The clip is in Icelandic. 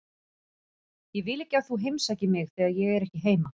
Ég vil ekki að þú heimsækir mig þegar ég er ekki heima.